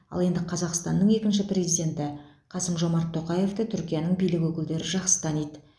ал енді қазақстанның екінші президенті қасым жомарт тоқаевты түркияның билік өкілдері жақсы таниды